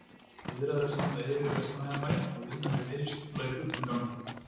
Viðræður standa yfir við Vestmannaeyjabæ og vinna við deiliskipulag í fullum gangi.